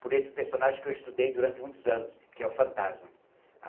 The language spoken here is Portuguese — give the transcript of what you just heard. por esse personagem que eu estudei durante muitos anos, que é o Fantasma.